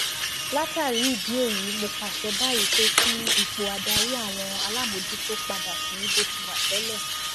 látàrí ìdí èyí mo pàṣẹ báyìí pé kí ipò adarí àwọn alámòójútó padà sí bó ti wà tẹlẹ